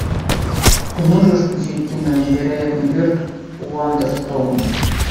ты можешь включить кино невероятный берт уандерстоун